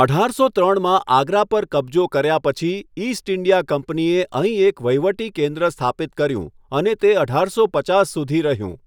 અઢારસો ત્રણમાં આગ્રા પર કબજો કર્યા પછી, ઇસ્ટ ઇન્ડિયા કંપનીએ અહીં એક વહીવટી કેન્દ્ર સ્થાપિત કર્યું અને તે અઢારસો પચાસ સુધી રહ્યું.